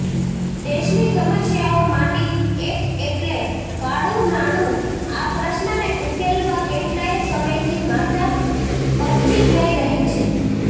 દેશની સમસ્યાઓમાંની એક એટલે કાળુનાણુ આ પ્રશ્નને ઉકેલવા કેટલાય સમયથી માથા પચ્ચી થઈ રહી છે